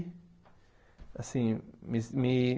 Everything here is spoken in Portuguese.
Assim me me